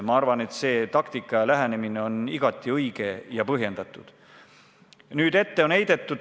Ma arvan, et see taktika ja lähenemine on igati õige ja põhjendatud.